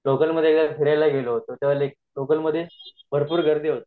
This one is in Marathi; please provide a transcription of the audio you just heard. जेव्हा मी लोकल मध्ये फिरायला गेलो होतो तेव्हा मी लोकल मध्ये भरपूर गर्दी होती